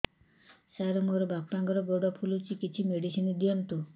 ସାର ମୋର ବାପାଙ୍କର ଗୋଡ ଫୁଲୁଛି କିଛି ମେଡିସିନ ଦିଅନ୍ତୁ